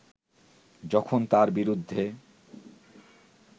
যখন তার বিরুদ্ধে